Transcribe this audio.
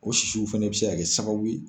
o sisiw fana bɛ se ka kɛ sababu ye.